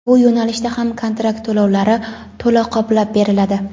bu yo‘nalishda ham kontrakt to‘lovlari to‘la qoplab beriladi.